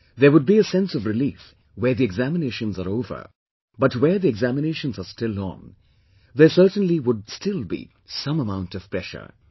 There would be a sense of relief where the examinations are over, but where the examinations are still on, there certainly would still be some amount of pressure